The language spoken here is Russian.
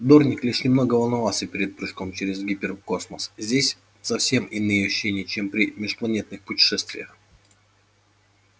дорник лишь немного волновался перед прыжком через гиперкосмос здесь совсем иные ощущения чем при межпланетных путешествиях